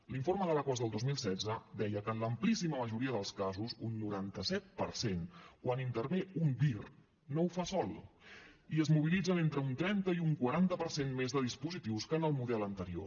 l’informe de l’aquas del dos mil setze deia que en l’amplíssima majoria dels casos un noranta set per cent quan intervé un dir no ho fa sol i es mobilitzen entre un trenta i un quaranta per cent més de dispositius que en el model anterior